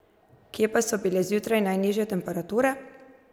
Kje pa so bile zjutraj najnižje temperature?